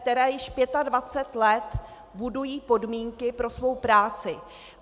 které již 25 let budují podmínky pro svou práci.